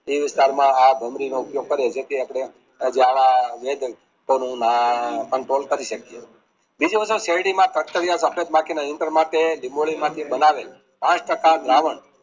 તે વિસ્તારમાં આ ભમરી નો ઉપયોગ કરીએ જે થી આપણે control કરી શકીયે બીજું બધું શેરડીમાં બાકીના માટે ડીબોડી માંથી બનાવે ટો છતાં દ્રાવણ